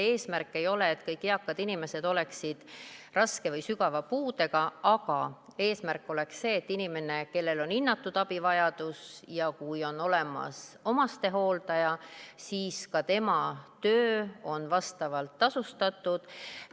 Eesmärk ei ole, et kõik eakad inimesed oleksid raske või sügava puudega, vaid eesmärk oleks see, et kui inimesel on hinnatud abivajadus ja on olemas omastehooldaja, siis tema töö oleks vastavalt tasustatud.